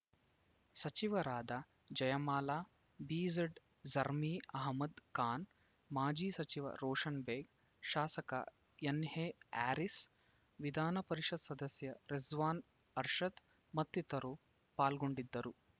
ಸಚಿವರಾದ ಜಯಮಾಲಾ ಬಿಝಡ್‌ಜಮೀರ್‌ ಅಹಮದ್‌ ಖಾನ್‌ ಮಾಜಿ ಸಚಿವ ರೋಷನ್‌ ಬೇಗ್‌ ಶಾಸಕ ಎನ್‌ಎಹ್ಯಾರಿಸ್‌ ವಿಧಾನ ಪರಿಷತ್‌ ಸದಸ್ಯ ರಿಜ್ವಾನ್‌ ಅರ್ಷದ್‌ ಮತ್ತಿತರರು ಪಾಲ್ಗೊಂಡಿದ್ದರು